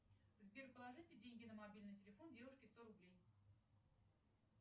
сбер положите деньги на мобильный телефон девушке сто рублей